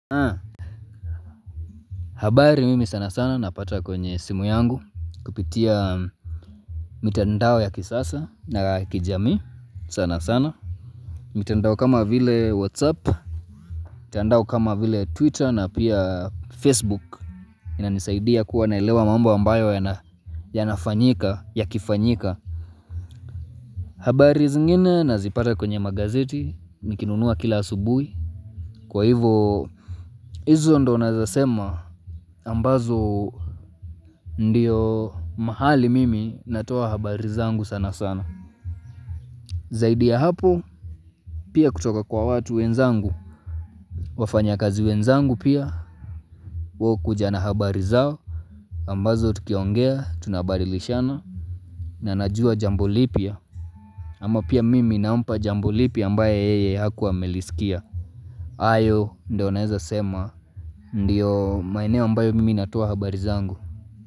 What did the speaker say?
Habari mimi sana sana napata kwenye simu yangu kupitia mitandao ya kisasa na kijamii sana sana mitandao kama vile whatsapp mitandao kama vile twitter na pia facebook inanisaidia kuwa naelewa mambo ambayo yanafanyika yakifanyika habari zingine nazipata kwenye magazeti nikinunua kila asubuhi kwa hivyo hizo ndo naeza sema ambazo ndiyo mahali mimi natoa habari zangu sana sana Zaidi ya hapo pia kutoka kwa watu wenzangu wafanyakazi wenzangu pia hukuja na habari zao ambazo tukiongea tunabadilishana na najua jambo lipia ama pia mimi nampa jambo lipia ambaye yeye hakuwa amelisikia hayo ndio naeza sema ndiyo maeneo ambayo mimi natoa habari zangu.